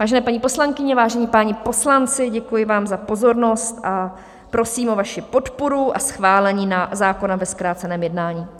Vážené paní poslankyně, vážení páni poslanci, děkuji vám za pozornost a prosím o vaši podporu a schválení zákona ve zkráceném jednání.